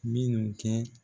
Mi n kɛ